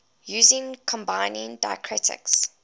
using combining diacritics